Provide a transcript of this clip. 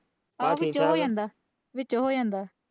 ਵਿੱਚੋ ਹੋ ਜਾਂਦਾ ਹੈ।